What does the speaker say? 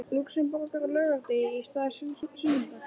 Lúxemborgar á laugardegi í stað sunnudags.